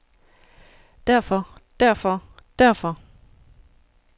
derfor derfor derfor